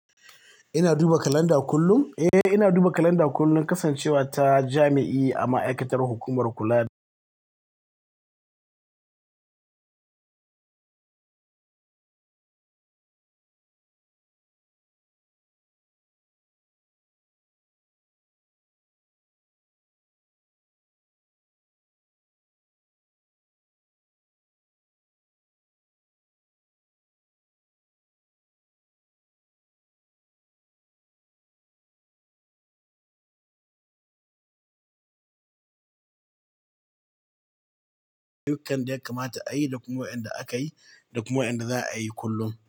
Ina duba kalanda kullum. Eh, ina duba kalanda kullum, kasancewa ta jami'i a ma'aikatar hukumar kula da dukkan yanda ya kamata da kuma wa'yanda akayi da kuma wan da za a yi kullum.